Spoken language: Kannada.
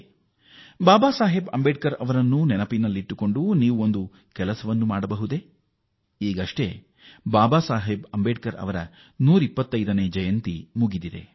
ನೀವು ಬಾಬಾ ಸಾಹೇಬ್ ಅಂಬೇಡ್ಕರ್ ಅವರ ಸ್ಮರಣೆಯಲ್ಲಿ ಒಂದು ಕೆಲಸ ಮಾಡುತ್ತೀರಾ ನಾವು ಇತ್ತೀಚೆಗೆ ಬಾಬಾ ಸಾಹೇಬ್ ಅಂಬೇಡ್ಕರ್ ಅವರ 125ನೇ ಜನ್ಮ ದಿನೋತ್ಸವ ಆಚರಿಸಿದೆವು